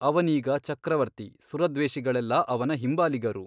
ಅವನೀಗ ಚಕ್ರವರ್ತಿ ಸುರದ್ವೇಷಿಗಳೆಲ್ಲ ಅವನ ಹಿಂಬಾಲಿಗರು.